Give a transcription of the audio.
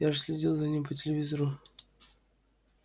я же следил за ним по телевизору